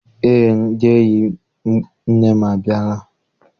Eé, ndị enyi nne m abịala.